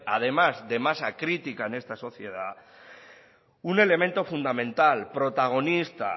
además de masa crítica en esta sociedad un elemento fundamental protagonista